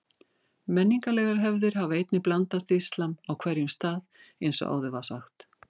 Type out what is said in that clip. Menningarlegar hefðir hafa einnig blandast íslam á hverjum stað eins og áður var sagt.